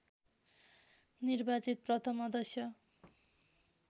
निर्वाचित प्रथम अध्यक्ष